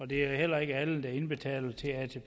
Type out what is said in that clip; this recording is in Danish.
det er heller ikke alle der indbetaler til atp